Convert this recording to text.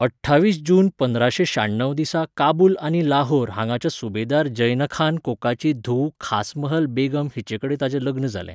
अठ्ठावीस जून पंदराशें शाण्णव दिसा काबूल आनी लाहोर हांगाच्या सुबेदार ज़ैनखान कोकाची धूव खासमहल बेगम हिचेकडेन ताचें लग्न जालें.